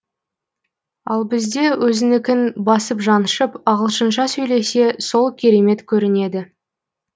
ал бізде өзінікін басып жаншып ағылшынша сөйлесе сол керемет көрінеді